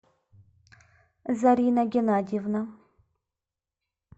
зарина геннадьевна